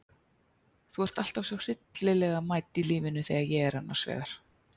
Þú ert alltaf svo hryllilega mædd í lífinu þegar ég er annars vegar.